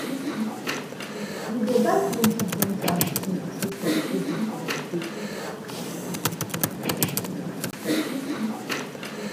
we dey buy plenty drinks and biscuits keep for di children for holiday